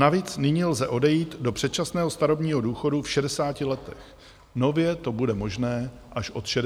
Navíc nyní lze odejít do předčasného starobního důchodu v 60 letech, nově to bude možné až od 62 let.